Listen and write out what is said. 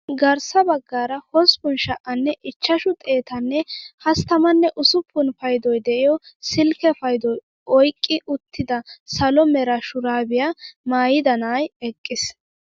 Garssa baggaara hosppun sha"anne ichchashshu xeettanne hasttamanne usuppun paydoy de'iyoo silkke paydoy oyqqi uttida salo mera shuraabiyaa maayida na'ay eqqiis!